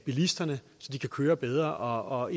bilisterne så de kan køre bedre og